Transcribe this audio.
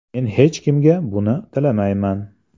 Men hech kimga buni tilamayman.